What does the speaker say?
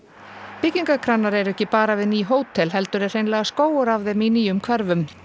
byggingakranar eru ekki bara við ný hótel heldur er hreinlega skógur af þeim í nýjum hverfum